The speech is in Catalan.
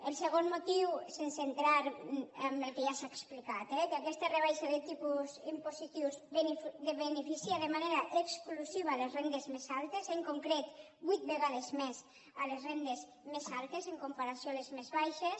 el segon motiu sense entrar en el que ja s’ha explicat eh que aquesta rebaixa de tipus impositius beneficia de manera exclusiva les rendes més altes en concret vuit vegades més les rendes més altes en comparació amb les més baixes